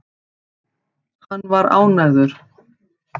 Hann var ánægður.